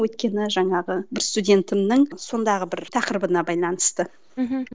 өйткені жаңағы бір студентімнің сондағы бір тақырыбына байланысты мхм